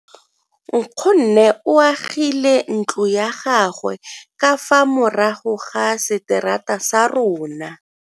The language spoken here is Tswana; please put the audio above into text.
Nkgonne o agile ntlo ya gagwe ka fa morago ga seterata sa rona.